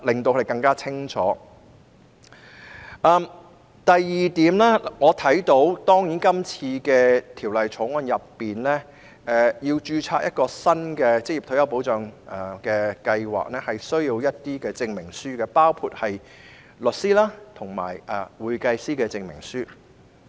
第二，如要在《條例草案》下註冊一個新的職業退休計劃，需要提交一些證明書，包括律師及會計師的證明書。